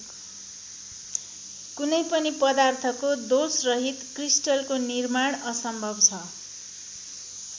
कुनै पनि पदार्थको दोषरहित क्रिस्टलको निर्माण असम्भव छ।